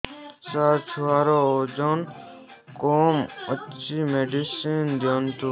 ସାର ଛୁଆର ଓଜନ କମ ଅଛି ମେଡିସିନ ଦିଅନ୍ତୁ